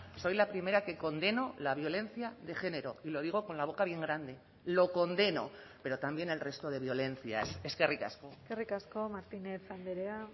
soy la primera que condeno la violencia de género y lo digo con la boca bien grande lo condeno pero también el resto de violencias eskerrik asko eskerrik asko martínez andrea